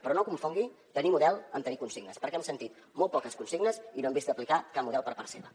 però no confongui tenir model amb tenir consignes perquè hem sentit molt poques consignes i no hem vist aplicar cap model per part seva